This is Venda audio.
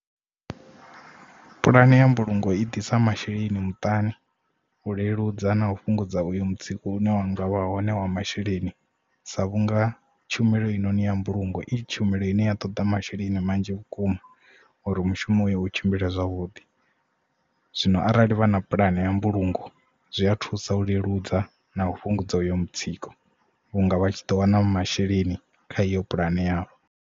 Pulane ya mbulungo i ḓisa masheleni muṱani, u leludza na u fhungudza uyu mutsiko une wanga vha hone wa masheleni sa vhunga tshumelo eyi noni ya mbulungo i tshumelo ine ya toḓa masheleni manzhi vhukuma uri mushumo u tshimbila zwavhuḓi zwino arali vha na puḽane ya mbulungo zwi a thusa u leludza na u fhungudza uyo mutsiko vhunga vha tshi ḓo wana masheleni kha iyo pulani yavho.